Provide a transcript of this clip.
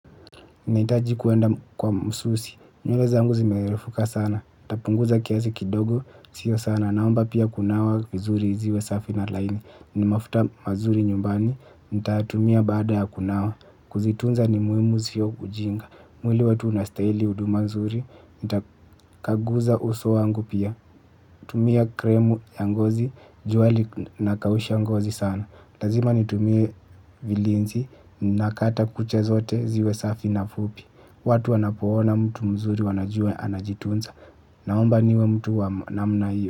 Nahitaji kuenda kwa msusi, nywele zangu zimerefuka sana, nitapunguza kiasi kidogo, sio sana, naomba pia kunawa vizuri ziwe safi na laini, ni mafuta mazuri nyumbani, nitatumia baada ya kunawa, kuzitunza ni muhimu sio ujinga, mwili wetu unastahili huuduma nzuri, nita kaguza uso wangu pia, tumia krimu ya ngozi, jua linakausha ngozi sana, lazima nitumie vilinzi, nakata kucha zote ziwe safi na fupi. Watu wanapoona mtu mzuri wanajua anajitunza. Naomba niwe mtu wa namna hiyo.